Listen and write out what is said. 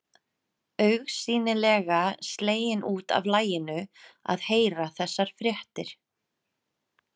Augsýnilega slegin út af laginu að heyra þessar fréttir.